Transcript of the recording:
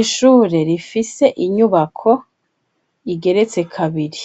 Ishure rifise inyubako igeretse kabiri,